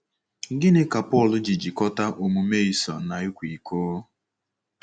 Gịnị ka Pọl ji jikọta omume Esau na ịkwa iko?